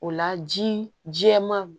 O la ji jɛman